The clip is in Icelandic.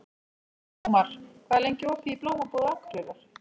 Ómar, hvað er lengi opið í Blómabúð Akureyrar?